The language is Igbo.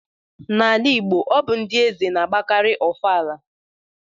N'ala Igbo, ọ bụ ndị eze na-agbakarị ofala